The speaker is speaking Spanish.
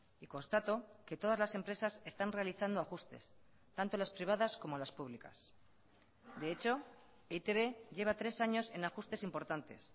y constato que todas las empresas están realizando ajustes tanto las privadas como las públicas de hecho e i te be lleva tres años en ajustes importantes